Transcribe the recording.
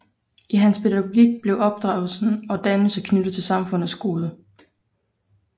I hans pædagogik blev opdragelse og dannelse knyttet til samfundets gode